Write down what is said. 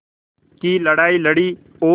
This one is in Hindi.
की लड़ाई लड़ी और